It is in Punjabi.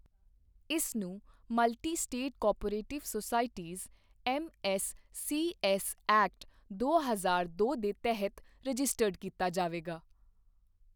ਇਸ ਨੂੰ multi state cooperative societies MSCS act, ਦੋ ਹਜ਼ਾਰ ਦੋ ਦੇ ਤਹਿਤ ਰਜਿਸਟਰਡ ਕੀਤਾ ਜਾਵੇਗਾ